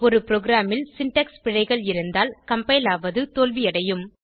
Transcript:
ஒரு ப்ரோகிராமில் சின்டாக்ஸ் பிழைகள் இருந்தால் கம்பைல் ஆவது தோல்வியடையும்